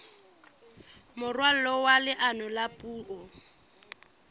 moralo wa leano la puo